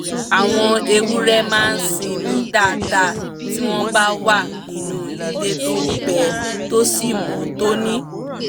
àwọn ewúrẹ́ máa sińmi dáadá tí wọ́n bá wà nínú ilé tó gbẹ tó sì mọ́ tóní